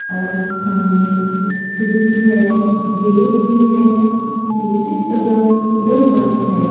और सामने खिड़की है गेट भी है दूसरी तरफ वुडन वर्क है।